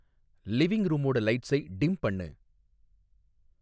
living ரூமோட லைட்ஸை dim பண்ணு